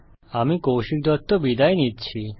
আমি কৌশিক দত্ত বিদায় নিচ্ছি